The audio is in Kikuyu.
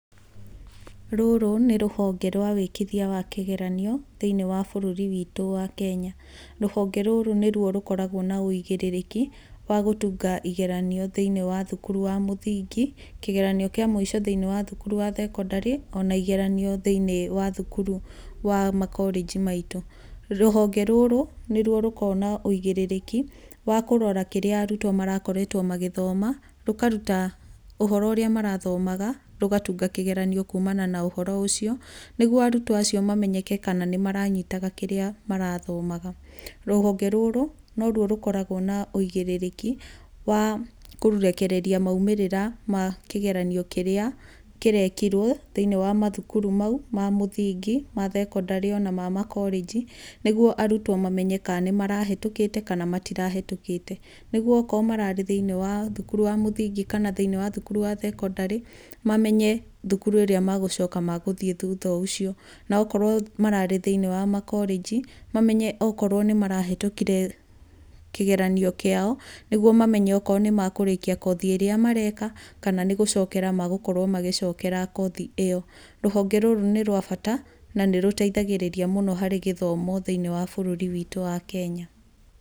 Rũrũ nĩ rũhonge rwa wĩkithia wa kĩgeranio thĩiniĩ wa bũrũri witũ wa Kenya. Rũhonge rũrũ nĩrũo rũkoragwo na ũigĩrĩrĩki wa gũtunga igeranio thĩiniĩ wa thukuru wa mũthingi, Kĩgeranio kĩa mũico thĩiniĩ wa thukuru wa thekondarĩ, ona igeranio igeranio thĩiniĩ wa thukuru wa makorĩnji maitũ. Rũhonge rũrũ nĩruo rũkoragwo na ũigĩrĩrĩki wa kũrora kĩrĩa arutwo marakoretwo magĩthoma, rũkaruta ũhoro ũrĩa marathomaga, rũgatunga kĩgeranio kumana na ũhoro ũcio, nĩguo arutwo acio mamenyeke kana nĩ maranyitaga kĩrĩa marathomaga. Rũhonge rũrũ nĩrũo rũkoragwo na ũigĩrĩrĩki wa kũrekereria maumĩrĩra ma kĩgeranio kĩrĩa kĩrekirwo thĩinĩ wa mathukuru mau ma mũthingi, ma thekondarĩ ona ma makorĩnji, nĩguo arutwo mamenye kana nĩ marahetũkĩte kana matirahetũkĩte. Nĩguo okorwo mararĩ thĩinĩ wa thukuru wa mũthingi kana thukuru wa thekondarĩ, mamenye thukuru ĩrĩa magũcoka magũthiĩ thutha ũcio. Na okorwo mararĩ thĩinĩ wa makorĩnji, mamenye okorwo nĩ marahetũkire kĩgeranio kĩao, nĩguo mamenye okorwo nĩ makũrĩkia kothi ĩrĩa mareka, kana nĩ gũcokera magũkorwo magĩcokera kothi ĩyo. Rũhonge rũrũ nĩ rwa bata na nĩ rũteithagĩrĩria mũno harĩ gĩthomo thĩiniĩ wa bũrũri witũ wa Kenya.